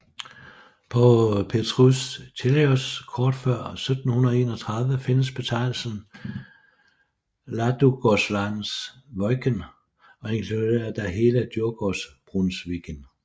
På Petrus Tillaeus kort fra 1731 findes betegnelsen Ladugårdslands Wÿken og inkluderer da hele Djurgårdsbrunnsviken